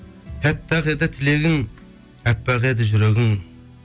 тәтті ақ еді тілегің әппақ еді жүрегің